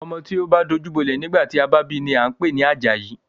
Ọmọ tí o bá dajú bolẹ̀ nígbà tí a bi ni a ń pè ní Àjàyí.